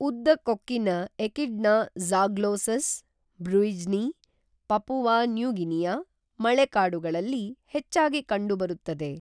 ಉದ್ದ ಕೊಕ್ಕಿನ echidna Zaglossus, bruijni, Papua New Guinea ಮಳೆಕಾಡುಗಳಲ್ಲಿ ಹೆಚ್ಚಾಗಿ ಕಂಡುಬರುತ್ತದೆ